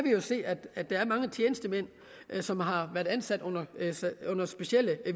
jo se at at der er mange tjenestemænd som har været ansat under specielle